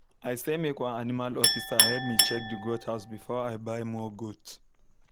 i say make one animal officer help me check the goat house before i buy more goat